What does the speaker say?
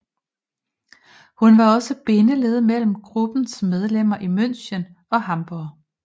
Hun var også bindeledet mellem gruppens medlemmer i München og Hamborg